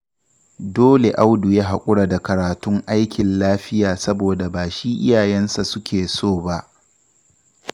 Dole Audu ya haƙura da karatun aikin lafiya saboda ba shi iyayensa suke so ba